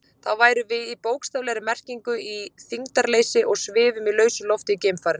Þá værum við í bókstaflegri merkingu í þyngdarleysi og svifum í lausu lofti í geimfarinu.